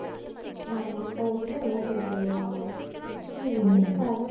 ஆமா. கடைசியா எல்லாரும் சேர்ந்துருவாங்க, அவ்வளவுதான். இதுதான் கதை